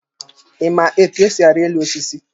Ị ma etu esi ari elu osisi?